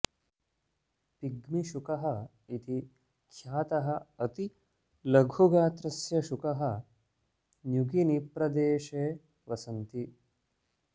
pygmy शुकः इति ख्यातः अति लघु गात्रस्य शुकः न्युगिनिप्रदेशे वसन्ति